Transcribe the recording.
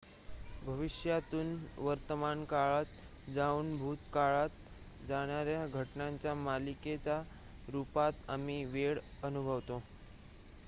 भविष्यातून वर्तमानकाळात जाऊन भूतकाळात जाणार्‍या घटनांच्या मालिकेच्या रुपात आम्ही वेळ अनुभवतो